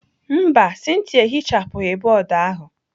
Mba, Cynthia ehichapụghị bọọdụ ahụ.